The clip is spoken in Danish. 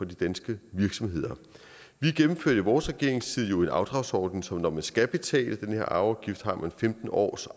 de danske virksomheder vi gennemførte vores regeringstid en afdragsordning som betyder at når man skal betale den her afgift har man femten år